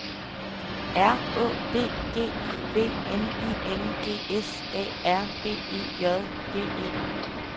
R Å D G I V N I N G S A R B E J D E